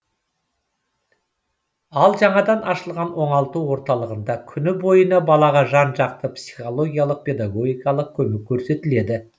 ал жаңадан ашылған оңалту орталығында күні бойына балаға жан жақты психологиялық педагогикалық көмек көрсетіледі